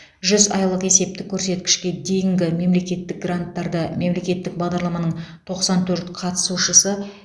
жүз айлық есептік көрсеткішке дейінгі мемлекеттік гранттарды мемлекеттік бағдарламаның тоқсан төрт қатысушысы